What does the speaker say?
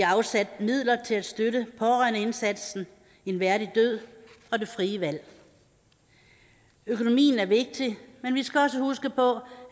har afsat midler til at støtte pårørendeindsatsen en værdig død og det frie valg økonomien er vigtig men vi skal også huske på